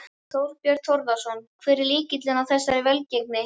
Þorbjörn Þórðarson: Hver er lykillinn að þessari velgengni?